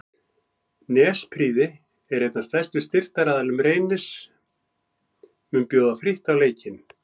Nesprýði einn af stærstu styrktaraðilum Reynis mun bjóða frítt á leikinn.